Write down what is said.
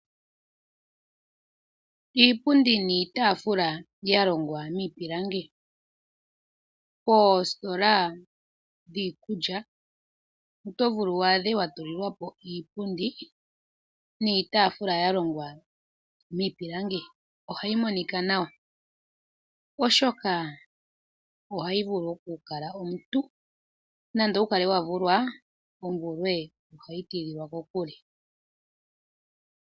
Iipundi niitaafula ya longwa miipilangi Poositola dhiikulya oto vulu wu adhe wa tulilwa po iipundi niitaafula ya longwa miipilangi , nohayi monika nawa, oshoka ohayi vulu oku kala omuntu, nande owu kale wa vulwa, omvulwe ohayi tidhilwa kokule.